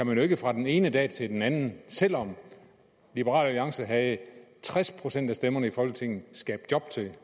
man jo ikke fra den ene dag til den anden selv om liberal alliance havde tres procent af stemmerne i folketinget kan skabe job til den